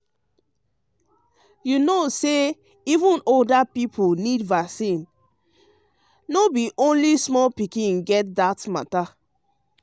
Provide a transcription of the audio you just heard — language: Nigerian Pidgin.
um um you know say even older people need vaccine um o no be only small pikin get um that matter.